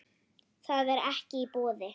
Það er ekki í boði.